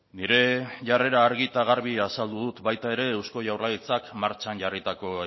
nire jarrera argi eta garbi azaldu dut baita ere eusko jaurlaritzak martxan jarritako